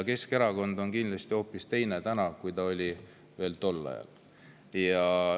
Keskerakond on täna kindlasti hoopis teine, kui ta oli tol ajal.